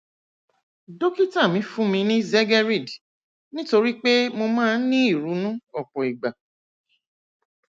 dókítà mi fún mi ní zegerid nítorí pé mo máa ń ní ìrunú ọpọ ìgbà